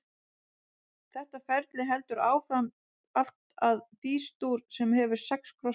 Þetta ferli heldur áfram allt að Fís-dúr, sem hefur sex krossa.